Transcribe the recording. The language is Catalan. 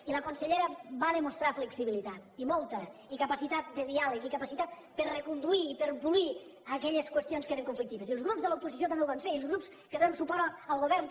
i la consellera va demostrar flexibilitat i molta i capacitat de diàleg i capacitat per reconduir i per polir aquelles qüestions que eren conflictives i els grups de l’oposició també ho van fer i els grups que donem suport al govern també